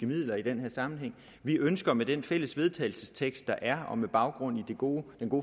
midler i den her sammenhæng vi ønsker med den fælles vedtagelsestekst der er og med baggrund i den gode